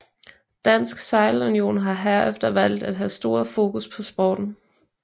Dansk Sejlunion har herefter valgt at have stor fokus på sporten